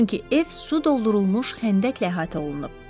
Çünki ev su doldurulmuş xəndəklə əhatə olunub.